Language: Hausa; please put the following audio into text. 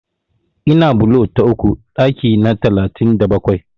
Ina bulo ta uku ɗaki na talatin da bakwai.